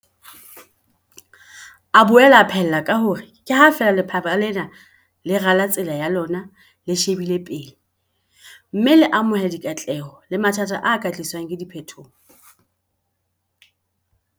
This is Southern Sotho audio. A boela a phaella ka hore ke ha feela lefapha lena le rala tsela ya lona le shebile pele, mme le amohela dikatleho le mathata a ka tliswang ke diphetoho.